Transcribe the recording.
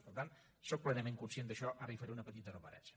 per tant sóc plenament conscient d’això ara hi faré una petita referència